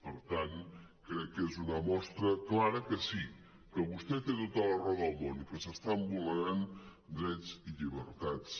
per tant crec que és una mostra clara que sí que vostè té tota la raó del món i que s’estan vulnerant drets i llibertats